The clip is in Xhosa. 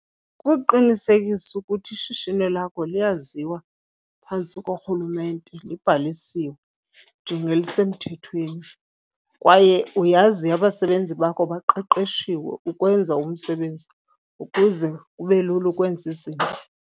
Kuqinisekisa ukuthi ishishini lakho liyaziwa phantsi korhulumente, libhalisiwe njengelisemthethweni kwaye uyazi abasebenzi bakho baqeqeshiwe ukwenza umsebenzi ukuze kube lula ukwenza izinto.